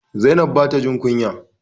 Zainab ba ta jin kunya.